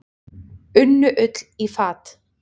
Unnu Ull í fat.